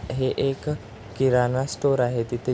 हे एक किराणा स्टोर आहे तिथे--